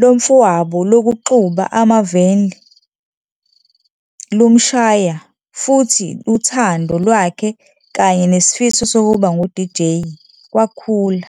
lomfowabo lokuxuba ama-vinyl lumshaya futhi uthando lwakhe kanye nesifiso sokuba ngu-DJ kwakhula.